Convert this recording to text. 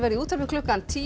í útvarpi klukkan tíu